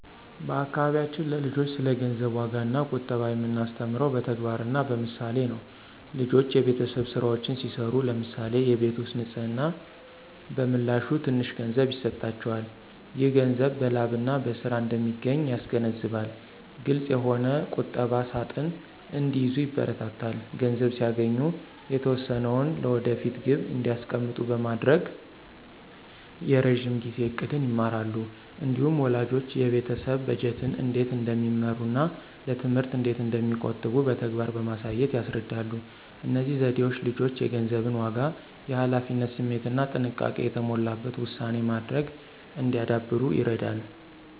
በአካባቢያችን ለልጆች ስለ ገንዘብ ዋጋና ቁጠባ የምናስተምረው በተግባርና በምሳሌ ነው። ልጆች የቤተሰብ ሥራዎችን ሲሠሩ (ለምሳሌ የቤት ውስጥ ንፅህና) በምላሹ ትንሽ ገንዘብ ይሰጣቸዋል። ይህ ገንዘብ በላብና በሥራ እንደሚገኝ ያስገነዝባል። ግልፅ የሆነ ቁጠባ ሣጥን እንዲይዙ ይበረታታሉ። ገንዘብ ሲያገኙ የተወሰነውን ለወደፊት ግብ እንዲያስቀምጡ በማድረግ የረዥም ጊዜ ዕቅድን ይማራሉ። እንዲሁም ወላጆች የቤተሰብ በጀትን እንዴት እንደሚመሩና ለትምህርት እንዴት እንደሚቆጥቡ በተግባር በማሳየት ያስረዳሉ። እነዚህ ዘዴዎች ልጆች የገንዘብን ዋጋ፣ የኃላፊነት ስሜትና ጥንቃቄ የተሞላበት ውሳኔ ማድረግ እንዲያዳብሩ ይረዳሉ።